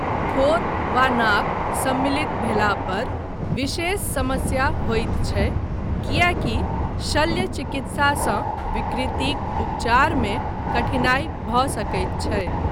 ठोर वा नाक सम्मिलित भेला पर विशेष समस्या होइत छै, किएकी शल्य चिकित्सासँ विकृतिक उपचारमे कठिनाई भऽ सकैत छै।